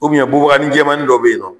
bubagani jɛmannin dɔ bɛ yen nɔ